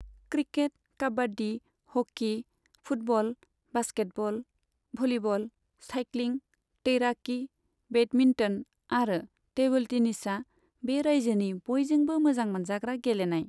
Cricket, kabaddi, hockey, football, basketball, volleyball, cycling, तैराकी, badminton आरो table टेनिसआ बे रायजोनि बयजोंबो मोजां मोनजाग्रा गेलेनाय।